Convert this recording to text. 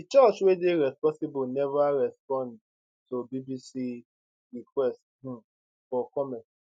di church wey dey responsible never responded to bbc request um for comment